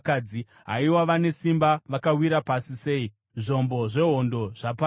“Haiwa vane simba vakawira pasi sei! Zvombo zvehondo zvaparadzwa!”